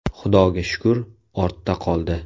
Xudoga shukur, ortda qoldi.